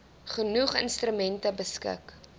genoeg instrumente beskik